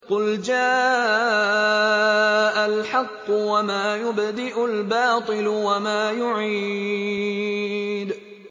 قُلْ جَاءَ الْحَقُّ وَمَا يُبْدِئُ الْبَاطِلُ وَمَا يُعِيدُ